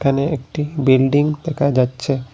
এখানে একটি বিল্ডিং দেখা যাচ্ছে।